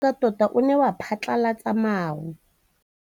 Mowa o wa go foka tota o ne wa phatlalatsa maru.